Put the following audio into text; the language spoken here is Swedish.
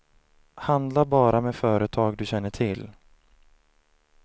Handla bara med företag du känner till.